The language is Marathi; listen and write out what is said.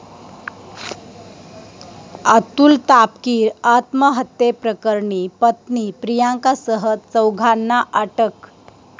अतुल तापकीर आत्महत्येप्रकरणी पत्नी प्रियंकासह चौघांना अटक